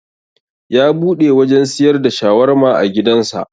Ya buɗe wajan siyar da shawarma a gidan sa